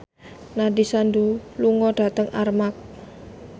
Nandish Sandhu lunga dhateng Armargh